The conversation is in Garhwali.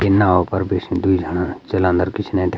ये नाव पर बिष्ण द्वि जाणा जलान्द्र पिछने --